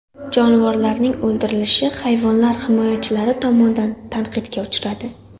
Jonivorlarning o‘ldirilishi hayvonlar himoyachilari tomonidan tanqidga uchradi.